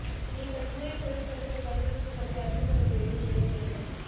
நீங்கள் கூரை திரள்கட்டுகள் வடிவமைப்பு பற்றி அறிந்து கொள்ள வேண்டும் வேறு என்ன